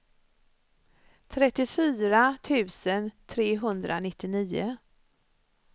trettiofyra tusen trehundranittionio